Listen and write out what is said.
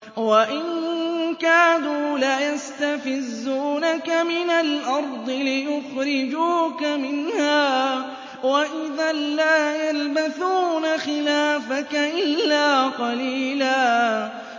وَإِن كَادُوا لَيَسْتَفِزُّونَكَ مِنَ الْأَرْضِ لِيُخْرِجُوكَ مِنْهَا ۖ وَإِذًا لَّا يَلْبَثُونَ خِلَافَكَ إِلَّا قَلِيلًا